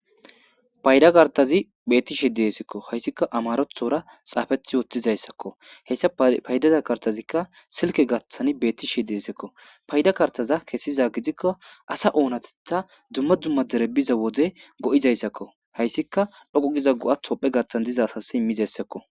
payda kartazi bettishe deesekko hayssikka amarothora xaafethi wottizayssakko heyssa paydaza kartazikka silke gaththan beettishe deesekko payda kartaza kessiza gidikko asa oonatetha dumma dumma derebiza wode go7izayssakko hayssika dhoqu giza go7a hopphe gathan diza asas immizessakko